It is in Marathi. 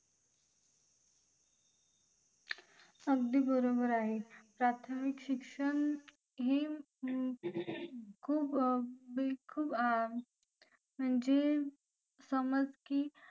अगदी बरोबर आहे प्राथमिक शिक्षण ही खूप म्हणजे समज की